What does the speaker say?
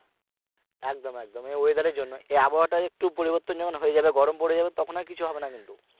একদম একদম এই ওয়েদারের জন্য এই আবহাওয়া টা একটু পরিবর্তন যখন হয়ে যাবে গরম পরে যাবে তখন আর কিছু হবে না কিন্তু